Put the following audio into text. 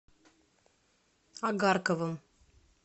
агарковым